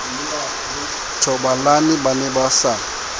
thobalane ba ne ba sa